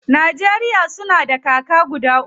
Najeriya suna da kaka guda uku.